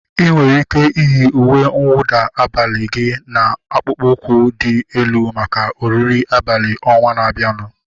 Ị nwere ike iyi uwe nwụda abalị gị na akpụkpọ ụkwụ dị elu maka oriri abalị ọnwaa na-abianu